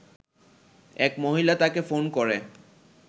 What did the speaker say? এক মহিলা তাকে ফোন করে